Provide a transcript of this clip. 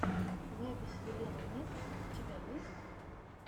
запись елены нескви у тебя есть